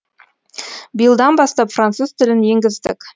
биылдан бастап француз тілін енгіздік